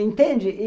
Entende?